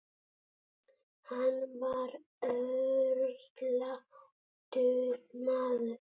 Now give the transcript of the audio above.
Hann var örlátur maður.